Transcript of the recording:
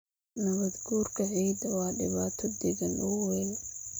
Nabaadguurka ciidda waa dhibaato deegaan oo weyn.